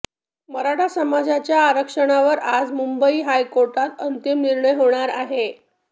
मराठा समाजाच्या आरक्षणावर आज मुंबई हायकोर्टात अंतिम निर्णय होणार आहे